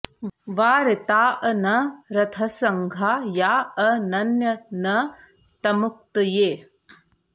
वा रिताऽ न र्थसङ्घा या अ नन्य न तमुक्तये